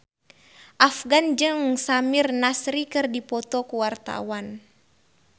Afgan jeung Samir Nasri keur dipoto ku wartawan